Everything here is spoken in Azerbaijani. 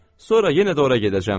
Sonra yenə də ora gedəcəm.